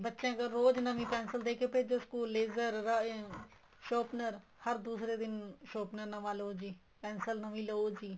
ਬੱਚਿਆ ਕੋਲ ਰੋਜ ਨਵੀਂ pencil ਦੇਕੇ ਭੇਜੋ school raiser sharpened ਹਰ ਦੂਸਰੇ ਦਿਨ sharpened ਨਵਾਂ ਲਓ ਜੀ pencil ਨਵੀਂ ਲਓ ਜੀ